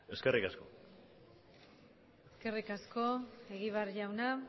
eskerrik asko eskerrik asko egibar jauna